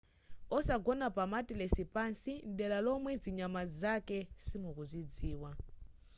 osagona pa matilesi pansi mdera lomwe zinyama zake simukuzidziwa